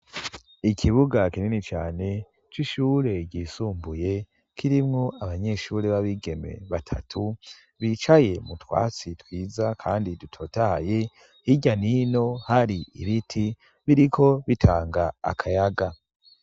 Ikibuga kinini cane c'ishure ryisumbuye kirimwo abanyeshure b'abigeme batatu bicaye mu twatsi twiza kandi dutotahaye hirya nino hari ibiti biriko bitanga akayaga.